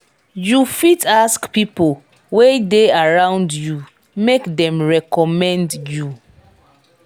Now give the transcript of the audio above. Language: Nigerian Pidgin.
you fit ask pipo wey de around you make dem reccomend you